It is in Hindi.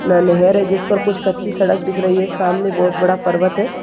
नांन्हेर है जिस पर कुछ कच्ची सड़क दिख रही है। सामने बहोत बड़ा पर्वत है।